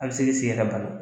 An bɛ se k'i sen yɛrɛ bana